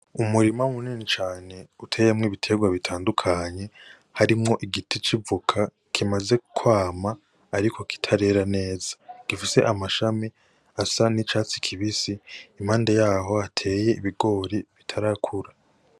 Umurima munini cane uteyemwo ibitegwa bitandukanye harimwo igiti c'ivoka kimaze kwama ariko kitarera neza gifise amshami asa nicatsi kibisi impande yaho hateye ibigori bitarakura.